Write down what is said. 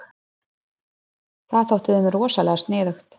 Það þótti þeim rosalega sniðugt.